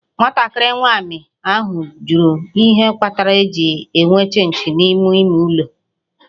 Nwatakịrị nwanyị ahụ jụrụ ihe kpatara e ji enwe Chịnchị n'ime ime ụlọ